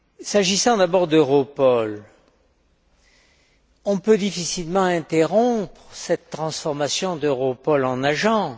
S'agissant d'abord d'Europol, on peut difficilement interrompre cette transformation d'Europol en agence.